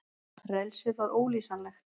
Frelsið var ólýsanlegt.